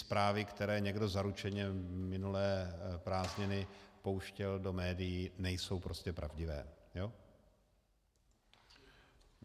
Zprávy, které někdo zaručeně minulé prázdniny pouštěl do médií, nejsou prostě pravdivé.